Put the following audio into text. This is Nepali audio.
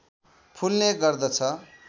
फुल्ने गर्दछ